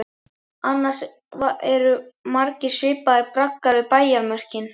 Annars eru margir svipaðir braggar við bæjarmörkin.